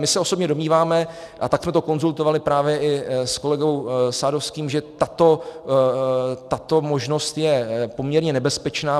My se osobně domníváme, a tak jsme to konzultovali právě i s kolegou Sadovským, že tato možnost je poměrně nebezpečná.